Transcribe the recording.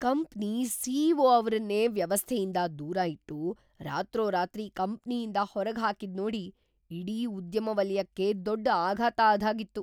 Company CEO. ಅವ್ರನ್ನೇ ವ್ಯವಸ್ಥೆಯಿಂದ ದೂರ ಇಟ್ಟು, ರಾತ್ರೋರಾತ್ರಿ ಕಂಪ್ನಿಯಿಂದ ಹೊರ್ಗ್‌ಹಾಕಿದ್ನೋಡಿ ಇಡೀ ಉದ್ಯಮವಲಯಕ್ಕೇ ದೊಡ್ಡ್‌ ಆಘಾತ ಆದ್ಹಾಗಿತ್ತು.